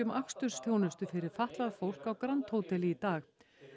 akstursþjónustu fyrir fatlað fólk á grand hóteli í dag